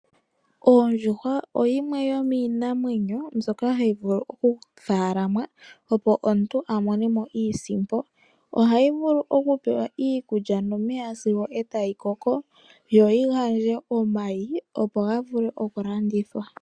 Ondjuhwa oyo yimwe yomiinamwenyo mbyoka hayi vulu okufaalamwa opo omuntu amone mo iisimpo. Ohayi vulu okupewa iikulya nomeya opo yikoke, yo yigandje omayi, go gavule okulandithwa.